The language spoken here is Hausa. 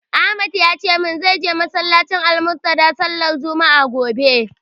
Ahmad ya ce min zai je masallacin "Almuntadha" sallar juma'a, gobe.